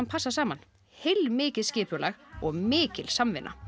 passa saman heilmikið skipulag og mikil samvinna